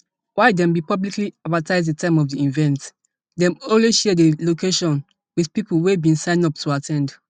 while dem bin publicly advertise di time of di event dem only share di location wit pipo wey bin sign up to at ten d